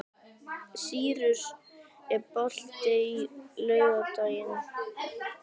Sýrus, er bolti á laugardaginn?